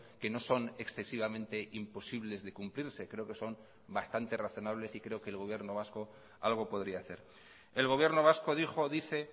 que no son excesivamente imposibles de cumplirse creo que son bastante razonables y creo que el gobierno vasco algo podría hacer el gobierno vasco dijo dice